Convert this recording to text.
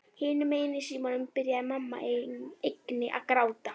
Hinum megin í símanum byrjaði mamma einnig að gráta.